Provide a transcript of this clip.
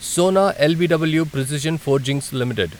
Sona BLW precision forgings limited